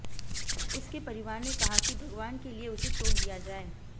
उसके परिवार ने कहा कि भगवान के लिए उसे छोड़ दिया जाए